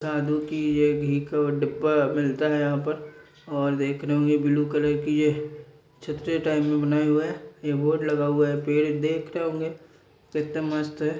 घी का डब्बा अ मिलता है यहां पर और देख रहे होंगे ब्लू कलर की यह छतरी टाइप में बनाएं हुआ है एक बोर्ड लगा हुआ है पेड़ देख रहे होंगे एकदम मस्त है ।